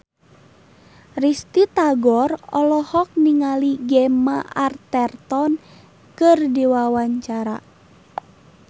Risty Tagor olohok ningali Gemma Arterton keur diwawancara